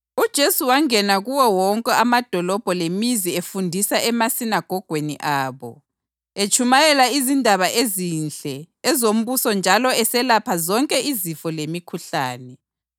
UJesu wangena kuwo wonke amadolobho lemizi efundisa emasinagogweni abo, etshumayela izindaba ezinhle ezombuso njalo eselapha zonke izifo lemikhuhlane.